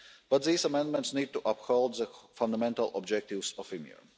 But these amendments need to uphold the fundamental objectives of EMIR.